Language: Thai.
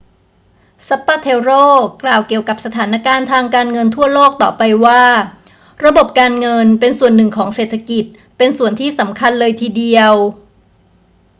zapatero กล่าวเกี่ยวกับสถานการณ์ทางการเงินทั่วโลกต่อไปว่า ระบบการเงินเป็นส่วนหนึ่งของเศรษฐกิจ เป็นส่วนที่สำคัญเลยทีเดียว